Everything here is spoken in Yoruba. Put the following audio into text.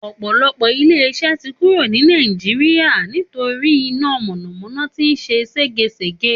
Ò̩pò̩lo̩pò̩ ilé is̩é̩ tí kúrò ní orílè̩-èdè Nàìjíríà nítorí iná mò̩nàmó̩ná tí ń s̩e ségesège